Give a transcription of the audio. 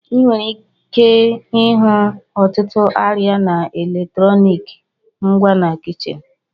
Ị nwere ike ịhụ ọtụtụ arịa na eletrọnịkị ngwa na kichin.